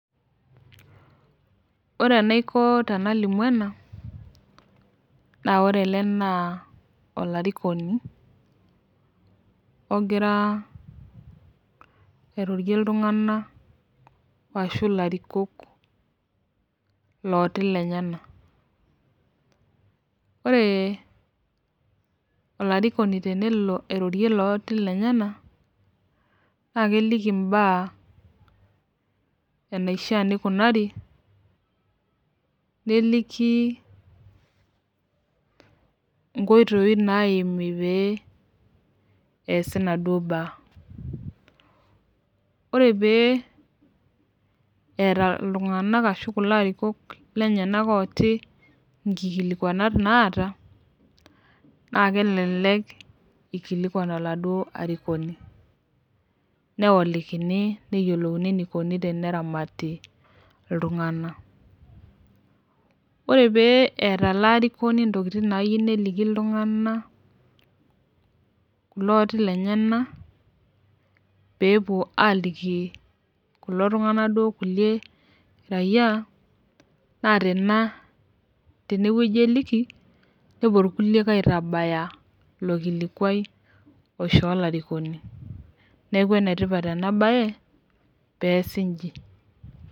Ore enaiko tenalimu ena, naa ore ele naa olarikoni egira airorie iltunganak ashu ilarikok, ilooti lenyenak. ore olarikoni tenelo airorie ilooti lenyenak. naa keleki imbaa enaishaa nikunari. neliki inkoitoi naimi pee eesi inaduoo naa. ore pee eeta iltunganak ashu kulo arikok inkilikuanat naata, naa kelelek ikilikuan oladuoo arikoni. neolikini. neyiolouni eneiko teneramati iltunganak. ore pee eeta ele arikoni intokitin naayieu neliki iltunganak. ilooti lenyenal pee epuo aaliki kulo tunganak, kulie rayiaa naa tene wueji eliki. nepuo irkuliek aitabaya ilonkilikuai oishoo olarikoni. neeku ene tipat ena bae peesk iji.